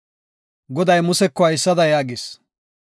Goday Museko haysada yaagis;